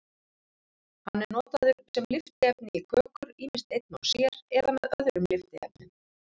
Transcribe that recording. Hann er notaður sem lyftiefni í kökur, ýmist einn og sér eða með öðrum lyftiefnum.